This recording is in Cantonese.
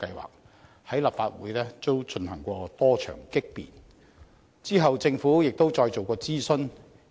強積金計劃在立法會也經過多場激辯，之後政府再進行諮詢。